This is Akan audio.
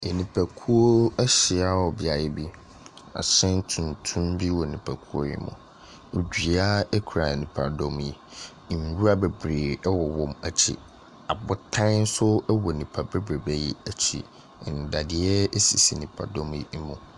Nnipakuo ahyia wɔ beaeɛ bi. Ahyɛn tuntum bi wɔ nnipakuo yi mu. Dua kura nnipadɔm yi. Nwura bebree wɔ wɔn akyi. Abotan nso wɔ nnipa bebrebe yi akyi. Nnadeɛ sisi nnipadɔm yi mu.